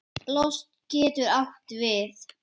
Lost getur átt við